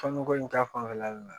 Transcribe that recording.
Tɔnniko in ta fanfɛla le la